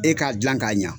E k'a dilan k'a ɲa